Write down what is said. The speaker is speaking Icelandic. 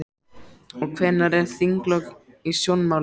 Og hvenær eru þinglok í sjónmáli?